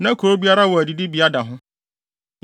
Na kurow biara wɔ adidibea da ho.